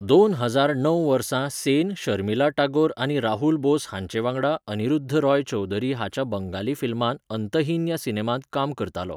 दोन हजार णव वर्सा सेन शर्मिला टागोर आनी राहुल बोस हांचे वांगडा अन्निरुध रॉय चौधरी हाच्या बंगाली फिल्मांत 'अंतहीन' ह्या सिनेमांत काम करतालो.